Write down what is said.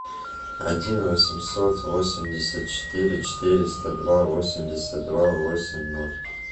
один восемьсот восемьдесят четыре четыреста два восемьдесят два восемь ноль